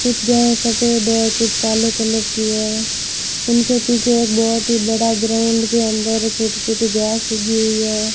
कुछ घर सफेद है कुछ काले कलर भी है उनके पीछे एक बहोत ही बड़ा ग्राउंड भी अंदर छोटी छोटी घास उगी हुई है।